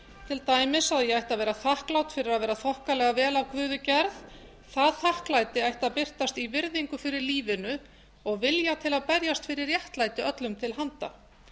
til dæmis að ég ætti að vera þakklát fyrir að vera þokkalega vel af guði gerð það þakklæti ætti að birtast í virðingu fyrir lífinu og vilja til að berjast fyrir réttlæti öllum til handa